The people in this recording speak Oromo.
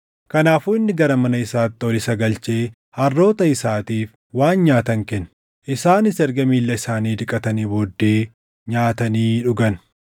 Kanaafuu inni gara mana isaatti ol isa galchee harroota isaatiif waan nyaatan kenne. Isaanis erga miilla isaanii dhiqatanii booddee nyaatanii dhugan.